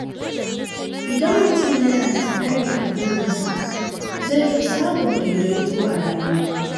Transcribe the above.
Idan mutum yana da tsari a burinsa, zai fi samun daidaito a rayuwa.